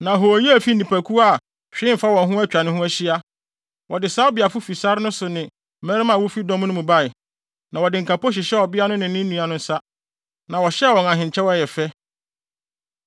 “Na hooyɛ a efi nnipakuw bi a hwee mfa wɔn ho atwa ne ho ahyia. Wɔde Sabeafo fi sare no so ne mmarima a wofi dɔm no mu bae, na wɔde nkapo hyehyɛɛ ɔbea no ne ne nua no nsa, na wɔhyɛɛ wɔn ahenkyɛw a ɛyɛ fɛ.